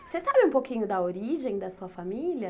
Você sabe um pouquinho da origem da sua família?